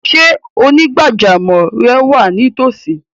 Ṣé onígbàjámọ̀ rẹ wa ní ìtòòsí?